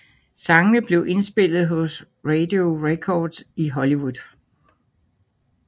Sangene blev indspillet hos Radio Recorders i Hollywood